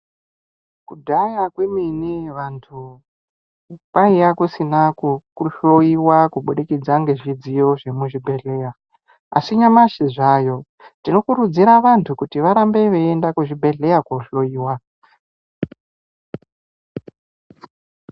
Kudhaya kwemene vanthu kwaiya kusina kuhloyiwa kubudikidza ngezvidziyo zvemuzvibhedhleya asi nyamashi zvaayo tinokurudzira vanthu kuti varambe veienda kuzvibhedhleya kohloyiwa.